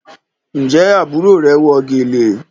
Njé àbúrò rẹ wọ gèlè?